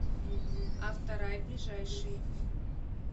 авторай ближайший